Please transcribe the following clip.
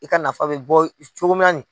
I ka nafa bɛ bɔ cogoya